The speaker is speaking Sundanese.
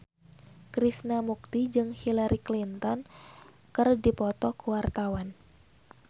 Krishna Mukti jeung Hillary Clinton keur dipoto ku wartawan